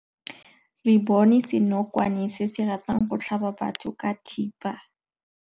Re bone senokwane se se ratang go tlhaba batho ka thipa.